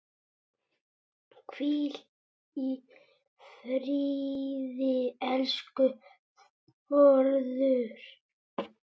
Hvíl í friði, elsku Þórður.